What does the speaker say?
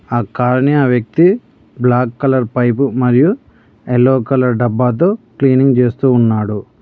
ఆ కార్ ని ఆ వ్యక్తి బ్లాక్ కలర్ పైపు మరియు ఎల్లో కలర్ డబ్బా తో క్లీనింగ్ చేస్తూ ఉన్నాడు.